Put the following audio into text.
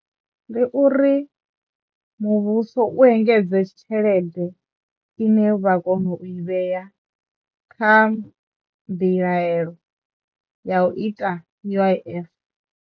Ndi uri muvhuso u engedze tshelede ine vha kono u i vhea kha mbilaelo ya u ita U_I_F.